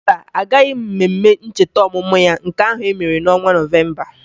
Mba, agaghị m mmemme ncheta ọmụmụ ya nke ahụ e mere n'ọnwa Nọvemba